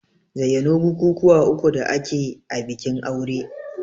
Zayyano bukukuwa uku da ake a bikin aure?